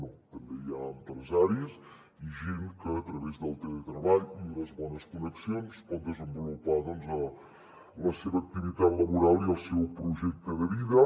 no també hi ha empresaris i gent que a través del teletreball i unes bones connexions pot desenvolupar la seva activitat laboral i el seu projecte de vida